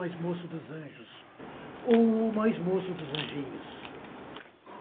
mais moço dos anjos ou mais moço dos anjinhos.